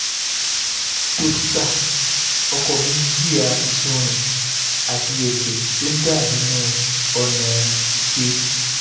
dókítà ọkọ mi ń jìyà ìsunrin àti ẹ̀jẹ̀ tó ń dà nínú ọ̀nà ìṣe